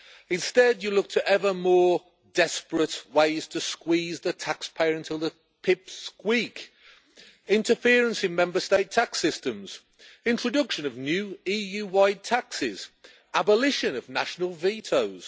Instead, you look to ever more desperate ways to squeeze the taxpayer until the pips squeak. Interference in Member State tax systems, introduction of new EU wide taxes, abolition of national vetoes.